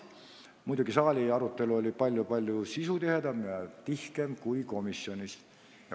Muidugi oli arutelu saalis palju-palju sisutihedam ja tihkem kui komisjonis.